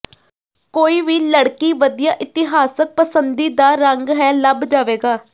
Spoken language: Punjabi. ਕੋਈ ਵੀ ਲੜਕੀ ਵਧੀਆ ਇਤਿਹਾਸਕ ਪਸੰਦੀਦਾ ਰੰਗ ਹੈ ਲੱਭ ਜਾਵੇਗਾ